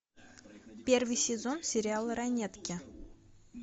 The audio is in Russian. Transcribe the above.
первый сезон сериала ранетки